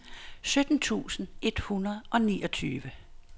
sytten tusind et hundrede og niogtyve